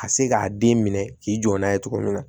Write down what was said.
Ka se k'a den minɛ k'i jɔ n'a ye cogo min na